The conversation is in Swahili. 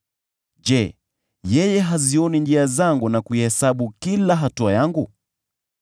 Je, yeye hazioni njia zangu na kuihesabu kila hatua yangu?